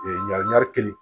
ɲagami